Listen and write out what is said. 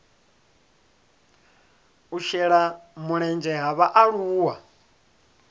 u shela mulenzhe ha vhaaluwa